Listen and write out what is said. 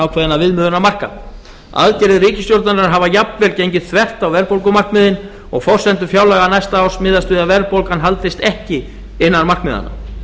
ákveðinna viðmiðunarmarka aðgerðir ríkisstjórnarinnar hafa jafnvel gengið þvert á verðbólgumarkmiðin og forsendur fjárlaga næsta árs miðast við að verðbólgan haldist ekki innan markmiðanna